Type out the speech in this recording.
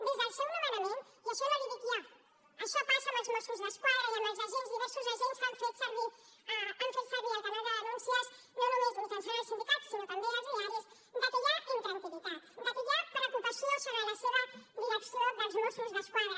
des del seu nomenament i això no li dic jo això passa amb els mossos d’esquadra i amb els agents diversos agents que han fet servir el canal de denúncies no només mitjançant els sindicats sinó també els diaris de que hi ha intranquil·litat de que hi ha preocupació sobre la seva direcció dels mossos d’esquadra